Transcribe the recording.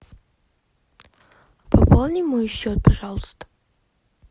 пополни мой счет пожалуйста